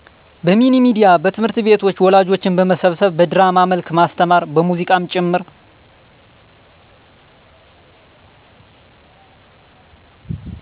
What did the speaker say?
በሚኒሚዲያ እና ትምህርትቤቶች ወላጆችን በመመብሰብ በድራማ መልክ ማስተማር በሙዚቃም ጭምር